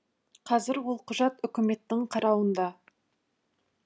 қазір ол құжат үкіметтің қарауында